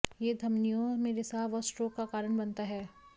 यह धमनियों में रिसाव और स्ट्रोक का कारण बनता है